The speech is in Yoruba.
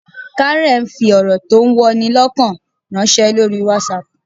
Karen fi ọ̀rọ̀ tó ń wọni lọ́kàn ránṣẹ́ lórí WhatsApp